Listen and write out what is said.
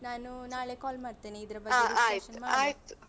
ನಾನು ನಾಳೆ call ಮಾಡ್ತೇನೆ ಇದ್ರ ಬಗ್ಗೆ discussion ಮಾಡುವ.